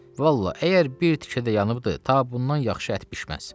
Vallahi, əgər bir tikə də yanıbdı, ta bundan yaxşı ət bişməz.